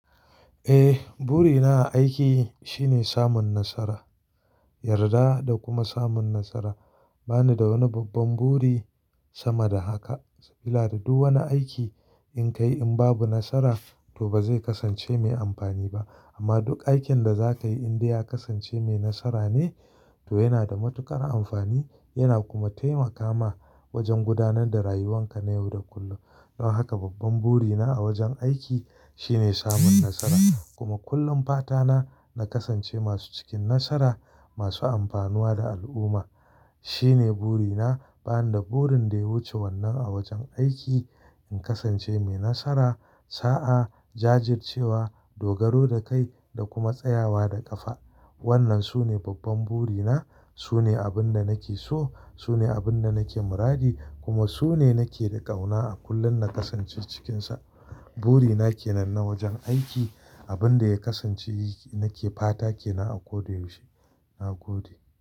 Eh, burina a aiki shine samun nasara, yarda da kuma samun nasara. Ba ni da wani babban buri sama da haka. Saboda duk wani aiki in ka yi in babu nasara to ba zai kasance mai amfani ba. Amma duk aikin da za ka yi in dai ya kasance mai nasara ne to yana da matuƙar amfani yana kuma taimaka ma wajen gudanar da rayuwanka na yau da kullum. Don haka babban burina a wajen aiki shine samun nasara kuma kullum fata na, na kasance masu cikin nasara masu amfanuwa da al'umma. Shine burina. Ba ni da burin dai wuce wannan a wajen aiki. In kasance mai nasara, sa'a, jajircewa, dogaro da kai da kuma tsayawa da ƙafa. Wannan sune babban burina. Sune abin da nake so. Sune abin da nake muradi kuma sune nake da ƙauna a kullum na kasance cikinsa. Burina kenan na wajen aiki. Abin da ya kasance nake fata kenan a ko da yaushe. Na gode.